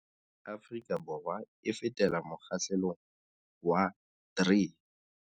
Afrika Borwa e fetela mokgahlelong wa 3.